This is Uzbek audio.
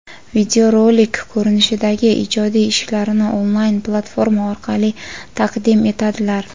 videorolik ko‘rinishidagi ijodiy ishlarini onlayn platforma orqali taqdim etadilar.